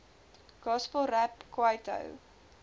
gospel rap kwaito